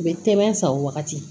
U bɛ tɛmɛ a san o wagati